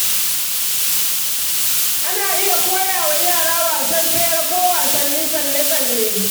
Ana iya kowa wa yara wasan tsere ko wasannin tsalle-tsalle.